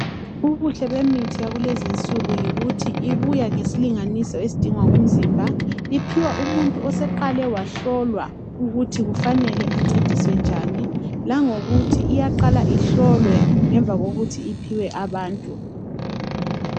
Ubuhle bemithi yakulezinsuku yikuthi ibuya ngesilinganiso esidingwa ngumzimba. Iphiwa umuntu oseqale wahlolwa ukuthi kufanele ancediswe njani . Langokuthi iyaqala ihlolwe ngemva kokuthi iphiwe abantu.